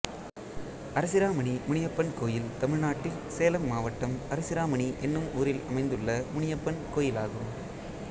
அரசிராமணி முனியப்பன் கோயில் தமிழ்நாட்டில் சேலம் மாவட்டம் அரசிராமணி என்னும் ஊரில் அமைந்துள்ள முனியப்பன் கோயிலாகும்